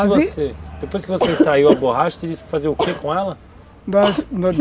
Peraí, depois que você extraiu a borracha, você disse que fazia o que com ela?